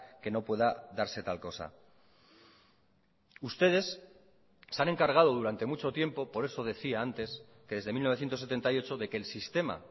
que no pueda darse tal cosa ustedes se han encargado durante mucho tiempo por eso decía antes que desde mil novecientos setenta y ocho de que el sistema